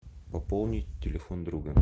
пополнить телефон друга